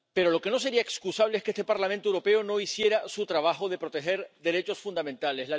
Pero lo que no sería excusable es que este Parlamento Europeo no hiciera su trabajo de proteger derechos fundamentales.